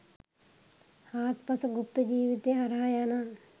හාත්පස ගුප්ත ජිවිතය හරහා යන